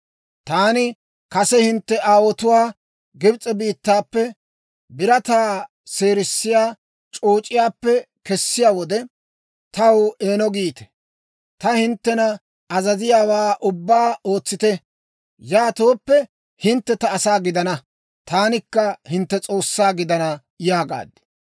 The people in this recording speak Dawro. Taani kase hintte aawotuwaa Gibs'e biittaappe, birataa seerissiyaa c'ooc'iyaappe kessiyaa wode, Taw eeno giite; ta hinttena azaziyaawaa ubbaa ootsite. Yaatooppe, hintte ta asaa gidana; taanikka hintte S'oossaa gidana yaagaad.